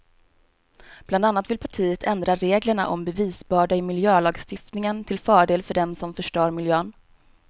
Bland annat vill partiet ändra reglerna om bevisbörda i miljölagstiftningen till fördel för dem som förstör miljön.